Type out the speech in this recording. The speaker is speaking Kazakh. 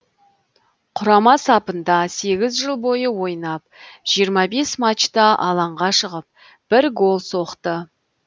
құрама сапында сегіз жыл бойы ойнап жиырма бес матчта алаңға шығып бір гол соқты